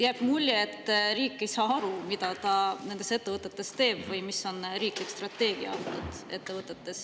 Jääb mulje, et riik ei saa aru, mida ta nendes ettevõtetes teeb või mis on riiklik strateegia ettevõtete puhul.